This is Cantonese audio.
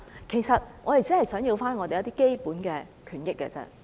其實，我們只不過想爭取基本權益而已。